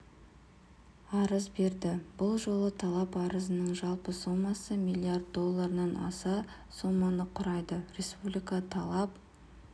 арыз берді бұл жолы талап арыздың жалпы сомасы миллиард долларынан аса соманы құрады республика талап